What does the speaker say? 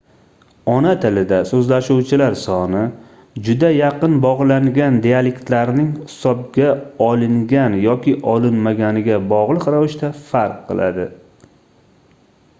ona tilida soʻzlashuvchilar soni juda yaqin bogʻlangan dialektlarlarning hisobga olingan yoki olinmaganiga bogʻliq ravishda farq qiladi